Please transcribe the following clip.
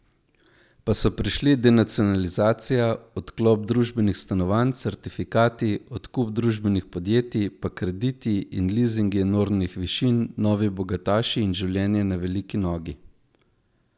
Pa so prišli denacionalizacija, odkup družbenih stanovanj, certifikati, odkup družbenih podjetij, pa krediti in lizingi enormnih višin, novi bogataši in življenje na veliki nogi.